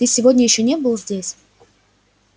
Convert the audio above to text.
ты сегодня ещё не был здесь